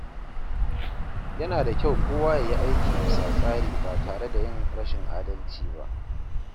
Yana da kyau kowa ya yi aiki bisa tsari ba tare da yin rashin adalci ba.